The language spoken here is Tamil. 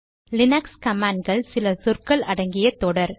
லீனக்ஸ் கமாண்ட் கள் சில சொற்கள் அடங்கிய தொடர்